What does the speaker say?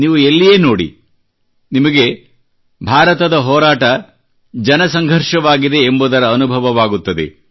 ನೀವೂ ಎಲ್ಲಿಯೇ ನೋಡಿ ನಿಮಗೆ ಭಾರತದ ಹೋರಾಟ ಜನಸಂಘರ್ಷವಾಗಿದೆ ಎಂಬುದರ ಅನುಭವವಾಗುತ್ತದೆ